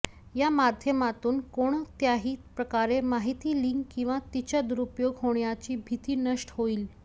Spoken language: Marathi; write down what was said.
या माध्यमातून कोणत्याही प्रकारे माहिती लीक किंवा तिचा दुरूपयोग होण्याची भीती नष्ट होईल